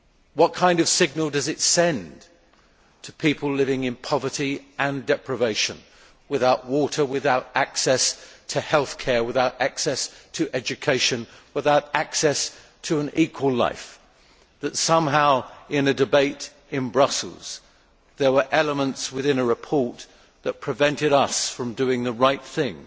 What kind of signal does it send to people living in poverty and deprivation without water, without access to health care, without access to education, without access to an equal life that somehow in a debate in Brussels there were elements within a report that prevented us from doing the right thing